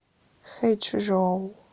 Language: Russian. хэчжоу